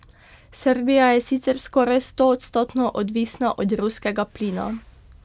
Srbija je sicer skoraj stoodstotno odvisna od ruskega plina.